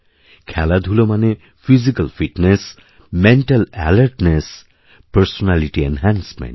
খেলাধুলো মানে physical fitness mental alertness personality enhancement